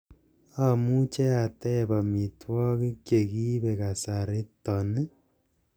amuche ateeb omitwogik chegiibe kasariton ii